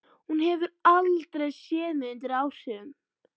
Hún hefur aldrei séð mig undir áhrifum.